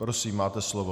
Prosím, máte slovo.